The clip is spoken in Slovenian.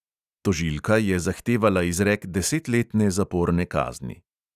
Tožilka je zahtevala izrek desetletne zaporne kazni.